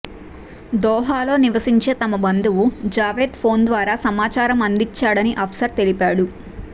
దోహాలో నివసించే తమ బందువు జావేద్ ఫోన్ ద్వారా సమాచారం అందించాడని అఫ్సర్ తెలిపాడు